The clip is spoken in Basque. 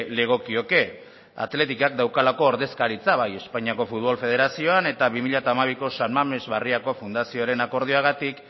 legokioke athleticek daukalako ordezkaritza bai espainiako futbol federazioan eta bi mila hamabiko san mamés barriako fundazioaren akordioagatik